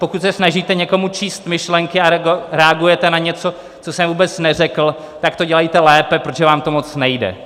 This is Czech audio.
Pokud se snažíte někomu číst myšlenky a reagujete na něco, co jsem vůbec neřekl, tak to dělejte lépe, protože vám to moc nejde.